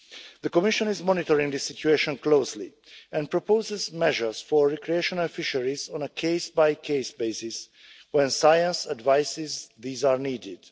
The Commission is monitoring this situation closely and proposes measures for recreational fisheries on a case-by-case basis when science advises that these are needed.